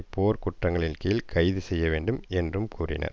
போர் குற்றங்களின் கீழ் கைது செய்ய வேண்டும் என்றும் கூறினர்